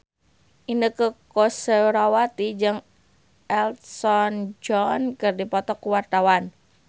Inneke Koesherawati jeung Elton John keur dipoto ku wartawan